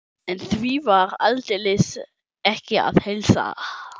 En því var aldeilis ekki að heilsa.